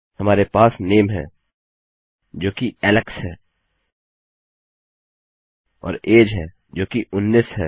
हमारे पास नामे है जोकि एलेक्स है और अगे है जोकि 19 है